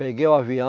Peguei o